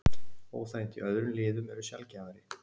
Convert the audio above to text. Óþægindi í öðrum liðum eru sjaldgæfari.